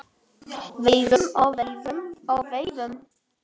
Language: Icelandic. Veiðum og veiðum og veiðum.